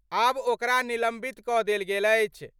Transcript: आब ओकरा निलंबित क' देल गेल अछि।